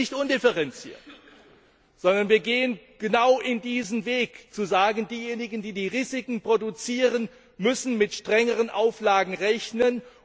Aber wir tun es nicht undifferenziert, sondern wir gehen genau diesen Weg, zu sagen Diejenigen, die die Risiken produzieren, müssen mit strengeren Auflagen rechnen.